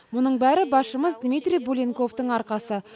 мұның бәрі басшымыз дмитрий буленковтың арқасы